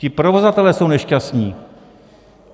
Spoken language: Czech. Ti provozovatelé jsou nešťastní.